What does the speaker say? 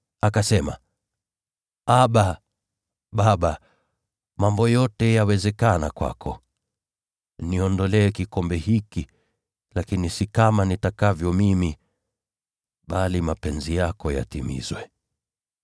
Akasema, “ Abba, Baba, mambo yote yawezekana kwako. Niondolee kikombe hiki. Lakini si kama nipendavyo mimi, bali vile upendavyo wewe.”